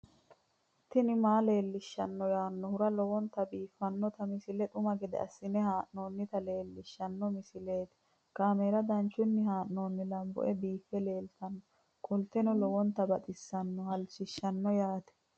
tini maa leelishshanno yaannohura lowonta biiffanota misile xuma gede assine haa'noonnita leellishshanno misileeti kaameru danchunni haa'noonni lamboe biiffe leeeltannoqolten lowonta baxissannoe halchishshanno yaate